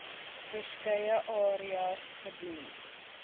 verskeie areas gedoen